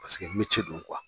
Paseke mece de don kuwa.